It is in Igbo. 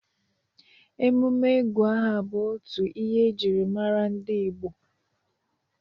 emume ịgụ aha bụ otu ihe ejiri mara ndị Igbo.